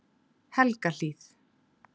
Helgahlíð